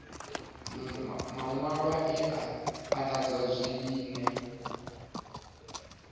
maṅwalwa e a anḓadzwa zwine